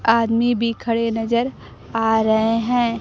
आदमी भी खड़े नजर आ रहे हैं।